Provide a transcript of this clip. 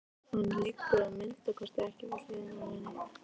Hann liggur að minnsta kosti ekki við hliðina á henni.